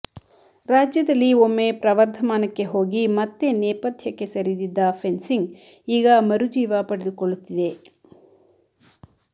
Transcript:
ರಾಜ್ಯದಲ್ಲಿ ಒಮ್ಮೆ ಪ್ರವರ್ಧಮಾನಕ್ಕೆ ಹೋಗಿ ಮತ್ತೆ ನೇಪಥ್ಯಕ್ಕೆ ಸರಿದಿದ್ದ ಫೆನ್ಸಿಂಗ್ ಈಗ ಮರುಜೀವ ಪಡೆದುಕೊಳ್ಳುತ್ತಿದೆ